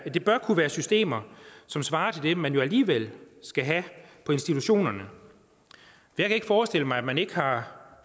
det bør kunne være systemer som svarer til det man alligevel skal have på institutionerne jeg kan ikke forestille mig at man ikke har